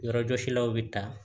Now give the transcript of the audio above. Yɔrɔjɔsilaw bɛ ta